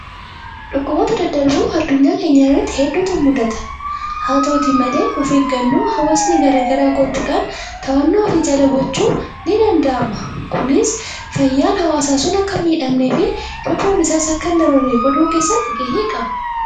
Dhukkuboota daddarboo addunyaa keenya irratti hedduutu mudata. Haa ta'uuti malee of eeggannoo hawaasni garaa garaa gochuudhaan to'annoo ofii jala gochuun ni danda'ama. Kunis fayyaan hawaasaa sun akka hin miiidhamnee fi lubbuun isaas akka hin dabarre godhuu keessatti gahee qaba.